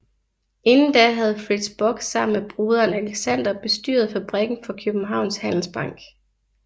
Inden da havde Fritz Bock sammen med broderen Alexander bestyret fabrikken for Kjøbenhavns Handelsbank